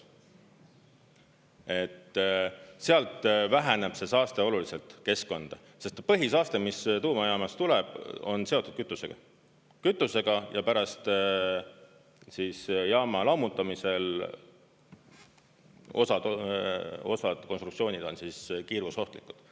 Et sealt väheneb see saaste oluliselt keskkonda, sest põhisaaste, mis tuumajaamast tuleb, on seotud kütusega, kütusega ja pärast jaama lammutamisel osad konstruktsioonid on kiirgusohtlikud.